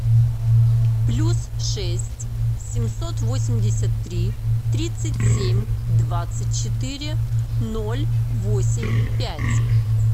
плюс шесть семьсот восемьдесят три тридцать семь двадцать четыре ноль восемь пять